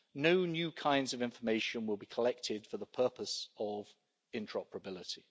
No new kinds of information will be collected for the purpose of interoperability.